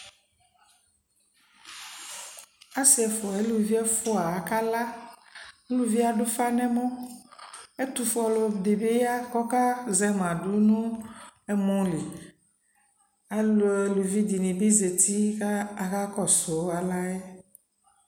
asii ɛƒʋa alʋvi ɛƒʋa aka la, ʋlʋviɛ adʋ ʋƒa nʋ ɛmɔ, ɛtʋƒʋɛ ɔdi bi ya kʋ ɔka zɛma dʋnʋ ɛmɔ li, alʋvi dini bi zati kʋ aka kɔsʋ alaɛ